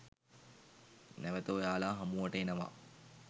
නැවත ඔයාලා හමුවට එනවා